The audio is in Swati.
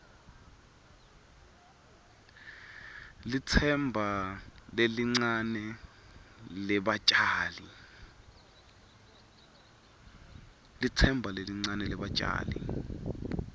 litsemba lelincane lebatjali